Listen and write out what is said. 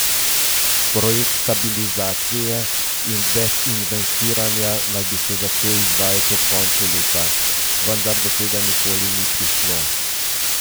Projekt stabilizacije in dezinvestiranja naj bi se začel izvajati ob koncu leta, vendar do tega nikoli ni prišlo.